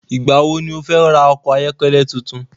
Ìgbà wo ni o fẹ́ ra okọ̀ ayọ́kẹ́lẹ́ tuntun?